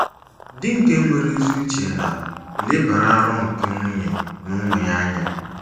Di nke nwere ezi uche na - elebara aro nke nwunye na ụmụ ya anya